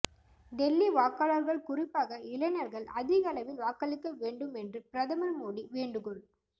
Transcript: டெல்லி வாக்காளர்கள் குறிப்பாக இளைஞர்கள் அதிகளவில் வாக்களிக்க வேண்டும் என்று பிரதமர் மோடி வேண்டுகோள்